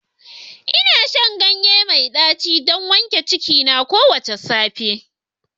Ina shan ganye mai daci don wanke cikina kowace safiya